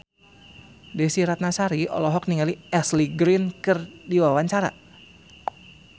Desy Ratnasari olohok ningali Ashley Greene keur diwawancara